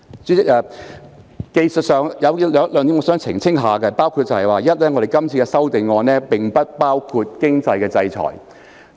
主席，有一些技術問題需要澄清，包括第一，是次修訂並不包括經濟制裁。